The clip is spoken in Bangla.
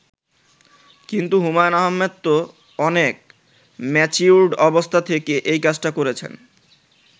কিন্তু হুমায়ূন আহমেদ তো অনেক ম্যাচিউরড অবস্থা থেকে এই কাজটা করেছেন।